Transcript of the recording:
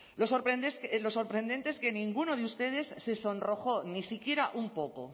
lo sorprendente es que ninguno de ustedes se sonrojó ni siquiera un poco